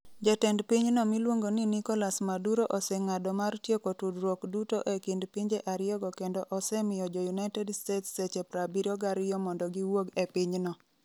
Jatend pinyno miluongo ni Nicolas Maduro oseng'ado mar tieko tudruok duto e kind pinje ariyogo kendo osemiyo jo United States seche 72 mondo giwuog e pinyno